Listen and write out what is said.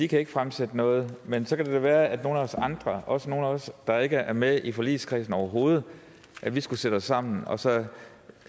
kan fremsætte noget men så kan det da være at nogle af os andre også nogle af os der ikke er med i forligskredsen overhovedet skulle sætte os sammen og så